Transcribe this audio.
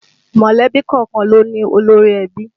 Mọ̀lẹ́bí kọ̀ọ̀kan ló ní olórí ẹbí